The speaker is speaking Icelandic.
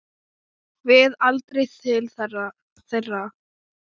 Við aldrei til þeirra.